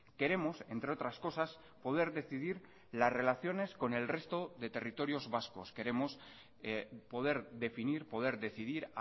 queremos entre otras cosas poder decidir las relaciones con el resto de territorios vascos queremos poder definir poder decidir